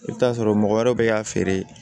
I bɛ t'a sɔrɔ mɔgɔ wɛrɛw bɛ k'a feere